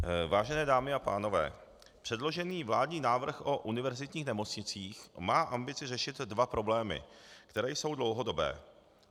Vážené dámy a pánové, předložený vládní návrh o univerzitních nemocnicích má ambici řešit dva problémy, které jsou dlouhodobé.